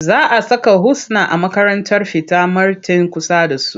Za a saka Husna a makarantar fita marten kusa da su.